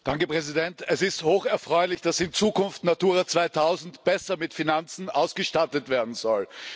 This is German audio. Herr Präsident! Es ist hoch erfreulich, dass in Zukunft Natura 2000 besser mit Finanzen ausgestattet werden soll.